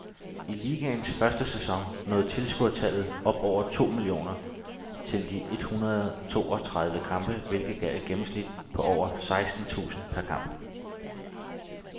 I ligaens første sæson nåede tilskuertallet over to millioner til de ethundrede og toogtredive kampe, hvilket gav et gennemsnit på over seksten tusind per kamp.